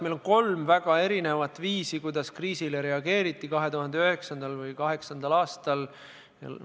Meil on väga erinevaid viise, kuidas on kriisile reageeritud, näiteks 2009. või 2008. aastal.